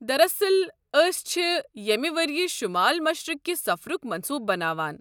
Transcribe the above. دراصل، ٲسۍ چھِ یمہِ ؤریہ شُمال مشرِق كہِ سفرُک منصوٗبہٕ بناوان۔